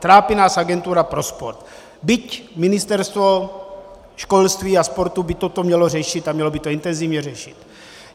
Trápí nás agentura pro sport, byť ministerstvo školství a sportu by toto mělo řešit a mělo by to intenzivně řešit.